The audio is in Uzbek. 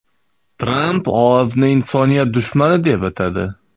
Tramp OAVni insoniyat dushmani deb atadi.